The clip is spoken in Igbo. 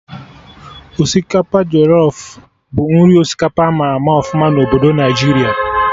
Osikapa jọlọf bụ nri osikapa ama ama ọfụma na obodo Naijiria